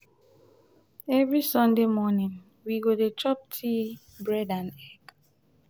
every sunday morning we go dey chop tea bread and egg.